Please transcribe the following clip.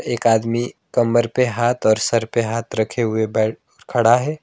एक आदमी कमर पे हाथ और सर पे हाथ रखे हुए बैठ खड़ा है।